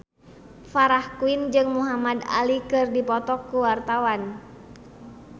Farah Quinn jeung Muhamad Ali keur dipoto ku wartawan